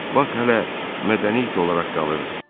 Pak hələ mədəni it olaraq qalırdı.